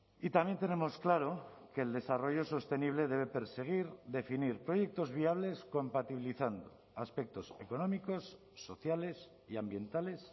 y también tenemos claro que el desarrollo sostenible debe perseguir definir proyectos viables compatibilizando aspectos económicos sociales y ambientales